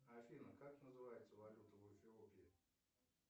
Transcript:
афина как называется валюта в эфиопии